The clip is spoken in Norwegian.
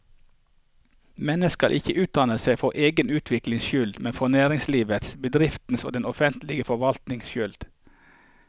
Mennesket skal ikke utdanne seg for egen utviklings skyld, men for næringslivets, bedriftenes og den offentlige forvaltningens skyld.